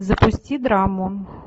запусти драму